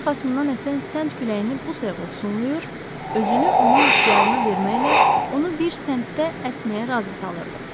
O arxasından əsən sənd küləyini bu sayğı ovsunlayır, özünü onun ixtiyarına verməklə onu bir səmtdə əsməyə razı salırdı.